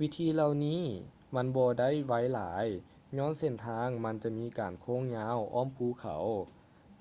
ວິທີເຫຼົ່ານີ້ມັນບໍ່ໄດ້ໄວຫຼາຍຍ້ອນເສັ້ນທາງມັນຈະມີການໂຄ້ງຍາວອ້ອມພູເຂົາ